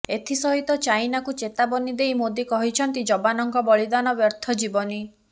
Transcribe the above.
ଏଥିସହିତ ଚାଇନାକୁ ଚେତାବନୀ ଦେଇ ମୋଦି କହିଛନ୍ତି ଯବାନଙ୍କ ବଳିଦାନ ବ୍ୟର୍ଥ ଯିବନି